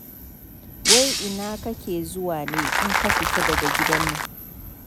Wai ina kake zuwa ne in ka fita daga gidan nan.